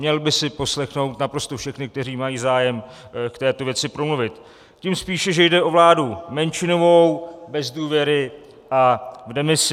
Měl by si poslechnout naprosto všechny, kteří mají zájem k této věci promluvit, tím spíše, že jde o vládu menšinovou, bez důvěry a v demisi.